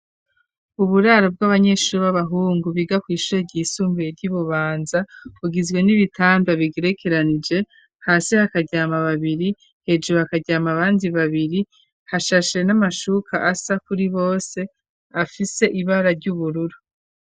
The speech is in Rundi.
Uburaro bw'abanyeshuri b'abahungu, biga kw'ishure ryisumbuye ryi Bubanza, bugizwe n'ibitanda bigerekeranije, hasi hakaryama babiri, hejuru hakaryama abandi babiri, hashashe n'amashuka asa kuri bose, afise ibara ry'ubururu.